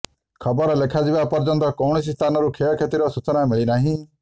ଖବର ଲେଖାଯିବା ପର୍ଯ୍ୟନ୍ତ କୌଣସି ସ୍ଥାନରୁ କ୍ଷୟକ୍ଷତିର ସୂଚନା ମିଳିନାହିଁ